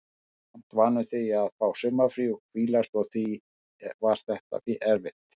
Maður er samt vanur því að fá sumarfrí og hvílast og því var þetta erfitt.